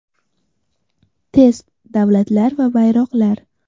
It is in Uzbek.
Test: Davlatlar va bayroqlar.